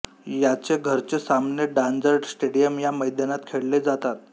याचे घरचे सामने डॉजर स्टेडियम या मैदानात खेळले जातात